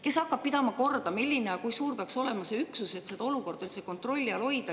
Kes hakkab korda pidama, milline ja kui suur peaks olema see üksus, et olukorda üldse kontrolli all hoida?